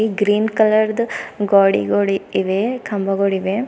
Green ಕಲರ್ದು ಗ್ವಾಡಿಗಳು ಇವೆ ಕಂಬಗಳಿವೆ.